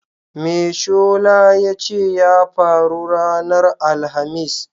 Me shola ya ce ya faru ranar Alhamis?